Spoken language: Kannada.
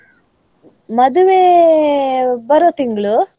ಮದುವೆ ಬರುವ ತಿಂಗ್ಳು.